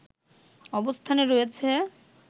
অবস্থানে রয়েছে